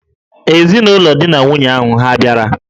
Ezinụlọ di na nwunye ahụ hà bịara?